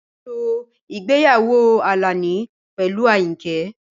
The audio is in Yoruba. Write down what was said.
Ṣètò ìgbéyàwó Alani pẹ̀lú Ayinke.